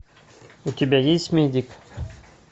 у тебя есть медик